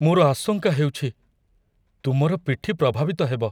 ମୋର ଆଶଙ୍କା ହେଉଛି, ତୁମର ପିଠି ପ୍ରଭାବିତ ହେବ।